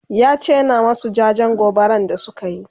yace yana masu jajen gobaran da sukayi